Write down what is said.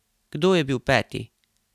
Kdo je bil peti?